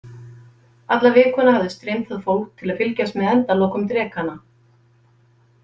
Alla vikuna hafði streymt að fólk til að fylgjast með endalokum drekanna.